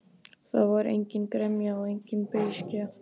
Það var engin gremja og engin beiskja.